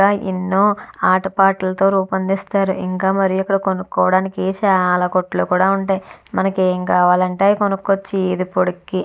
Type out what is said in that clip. ఎన్నో ఆటపాటలతో రూపొందిస్తారు ఇంకా మరియు ఇక్కడ కొనుక్కోవడానికి చాలా కొట్లు కూడా ఉంటాయి. మనకి ఏం కావాలంటే అది కొనుక్కోవచ్చు. ఈ వీదిపొడుక్కి.